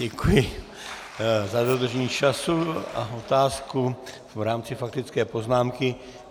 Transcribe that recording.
Děkuji za dodržení času a otázku v rámci faktické poznámky.